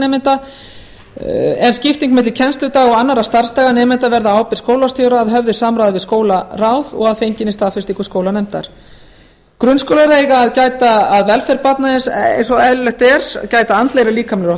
nemenda ef skipting milli kennsludaga og annarra starfsdaga nemenda verður á ábyrgð skólastjóra að höfðu samráði við skólaráð og að fenginni staðfestingu skólanefndar grunnskólar eiga að gæta að velferð barna eins og eðlilegt er gæta að andlegri og líkamlegri